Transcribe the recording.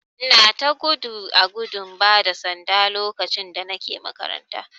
Ina ta gudu a gudun bada sanda lokacin da Nike makaranta.